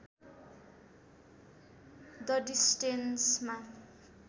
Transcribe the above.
the डिस्टेन्समा